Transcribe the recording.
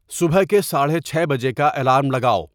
صبح کے ساڑھے چھ بجے کا الارم لگاؤ